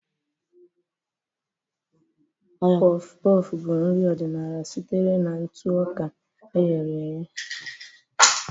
Puff-puff bụ nri ọdịnala sitere na ntụ ọka e ghere eghe.